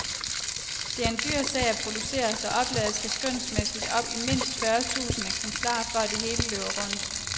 Det er en dyr sag at producere, så oplaget skal skønsmæssigt op i mindst fyrre tusinde eksemplarer, for at det hele løber rundt.